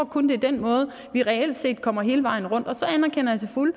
kun er den måde vi reelt set kommer hele vejen rundt på og så anerkender jeg til fulde